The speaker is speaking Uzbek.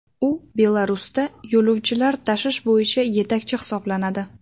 U Belarusda yo‘lovchilar tashish bo‘yicha yetakchi hisoblanadi.